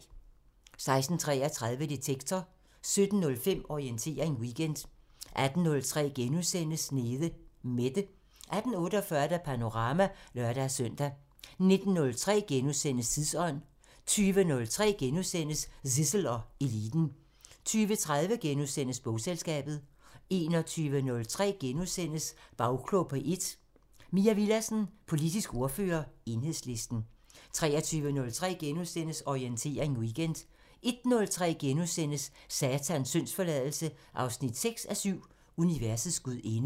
16:33: Detektor 17:05: Orientering Weekend 18:03: Nede Mette * 18:48: Panorama (lør-søn) 19:03: Tidsånd * 20:03: Zissel og Eliten * 20:30: Bogselskabet * 21:03: Bagklog på P1: Mai Villadsen, politisk ordfører, Enhedslisten * 23:03: Orientering Weekend * 01:03: Satans syndsforladelse 6:7 – Universets gudinde *